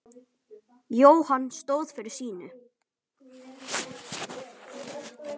Jóhann stóð fyrir sínu.